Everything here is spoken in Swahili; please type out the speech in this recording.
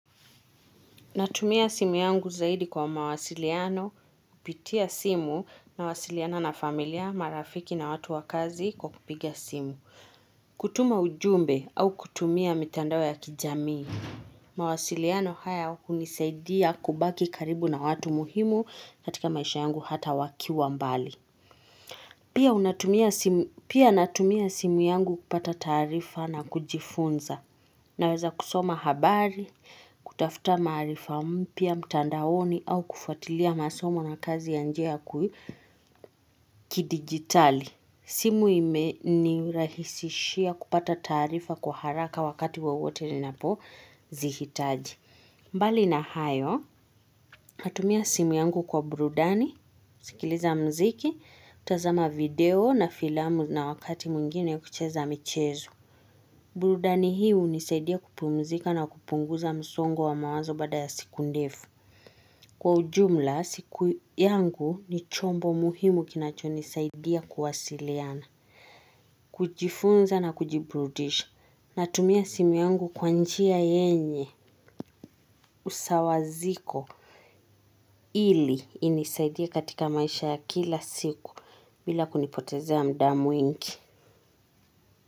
Natumia simu yangu zaidi kwa mawasiliano, kupitia simu, mawasiliano na familia, marafiki na watu wakazi kwa kupigia simu. Kutuma ujumbe au kutumia mitandao ya kijamii. Mawasiliano haya hunisaidia kubaki karibu na watu muhimu katika maisha yangu hata wakiwa mbali. Pia natumia simu yangu kupata taarifa na kujifunza naweza kusoma habari, kutafuta maarifa mpya mtandaoni au kufatilia masomo na kazi ya nje kidigitali. Simu imenirahisishia kupata taarifa kwa haraka wakati wowote ninapo zihitaji mbali na hayo natumia simu yangu kwa burudani kusikiliza mziki kutazama video na filamu na wakati mwingine kucheza michezo burudani hii hunisaidia kupumzika na kupunguza msongo wa mawazo baada ya siku ndefu. Kwa ujumla, siku yangu ni chombo muhimu kinacho nisaidia kuwasiliana, kujifunza na kujibrudisha. Natumia simu yungu kwanjia yenye usawaziko. Ili inisaidie katika maisha ya kila siku. Bila kunipotezea muda mwingi.